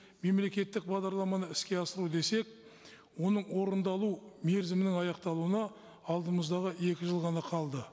мемлекеттік бағдарламаны іске асыру десек оның орындалу мерзімінің аяқталуына алдымыздағы екі жыл ғана қалды